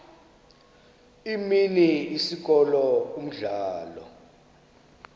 imini isikolo umdlalo